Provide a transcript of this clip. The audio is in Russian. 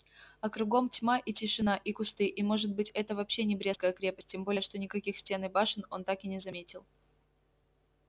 а кругом тьма и тишина и кусты и может быть это вообще не брестская крепость тем более что никаких стен и башен он так и не заметил